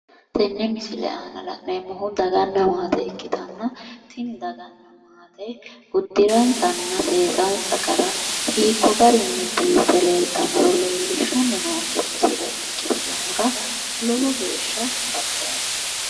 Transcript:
Tenne misile aana la'neemmohu daganna maate ikkitanna tini dagano uddiransanna seesansa gara hiikko garinni biiffe leeltaaro leellishshanni noonke misile ikkitinohura lowo geeshsha baxoomma.